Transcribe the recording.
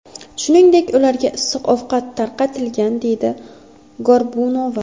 Shuningdek, ularga issiq ovqat tarqatilgan”, deydi Gorbunova.